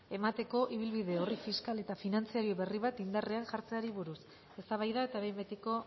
emateko ibilbide orri fiskal eta finantzario berri bat indarrean jartzeari buruz eztabaida eta behin betiko